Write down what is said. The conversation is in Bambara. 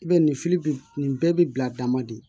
I b'a ye nin bɛ nin bɛɛ bi bila dama de